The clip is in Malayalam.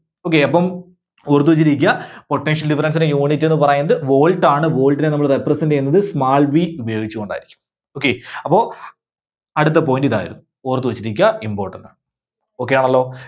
Okay അപ്പം ഓർത്തുവെച്ചിരിക്കുക. potential difference ന്റെ unit എന്ന് പറയുന്നത് volt ആണ്. volt നെ നമ്മള് represent ചെയ്യുന്നത് small v ഉപയോഗിച്ചുകൊണ്ടായിരിക്കും, okay. അപ്പോ അടുത്ത point ഇതായിരുന്നു. ഓർത്തുവെച്ചിരിക്കുക important ആണ്. Okay ആണല്ലോ.